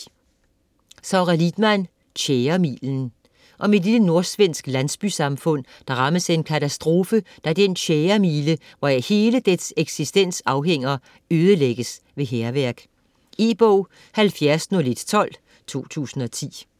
Lidman, Sara: Tjæremilen Om et lille nordsvensk landsbysamfund, der rammes af en katastrofe, da den tjæremile, hvoraf hele dets eksistens afhænger, ødelægges ved hærværk. E-bog 710112 2010.